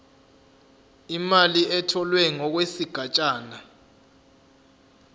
imali etholwe ngokwesigatshana